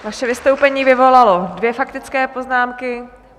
Vaše vystoupení vyvolalo dvě faktické poznámky.